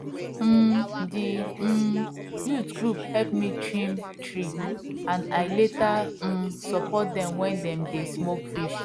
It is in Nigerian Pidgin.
um d um youth group help me trim tree and i later um support dem when dem dey smoke fish